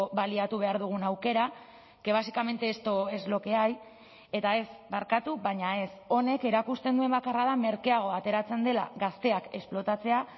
baliatu behar dugun aukera que básicamente esto es lo que hay eta ez barkatu baina ez honek erakusten duen bakarra da merkeago ateratzen dela gazteak esplotatzea